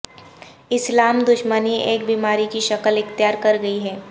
اسلام دشمنی ایک بیماری کی شکل اختیار کر گئی ہے